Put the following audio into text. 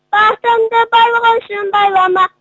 бақытыңды байлық үшін байлама